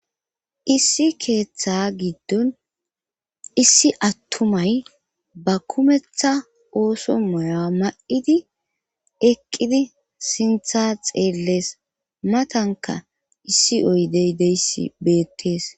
Issi keeththa giddon issi attumay ba kumetha ooso moya ma7idi eqqidi sintha xeellees matanka issi oydey deysi beettees